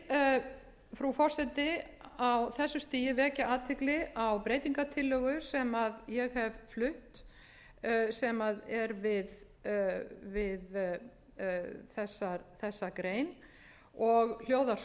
frú forseti á þessu stigi vekja athygli á breytingartillögu sem ég hef flutt sem er við þessa grein og hljóðar